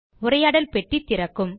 உரையாடல் பெட்டி திறக்கும்